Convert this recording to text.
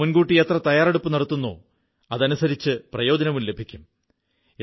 നാം മുൻകൂട്ടി എത്ര തയ്യാറെടുപ്പു നടത്തുന്നോ അതനുസരിച്ച് പ്രയോജനവും ലഭിക്കും